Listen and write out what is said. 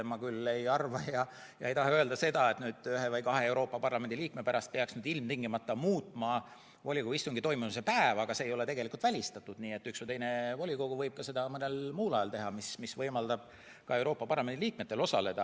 Ma küll ei arva ja ei taha öelda seda, et ühe või kahe Euroopa Parlamendi liikme pärast peaks ilmtingimata muutma volikogu istungi toimumise päeva, aga see ei ole välistatud, nii et üks või teine volikogu võib seda mõnel muul ajal teha ja see võimaldab ka Euroopa Parlamendi liikmetel osaleda.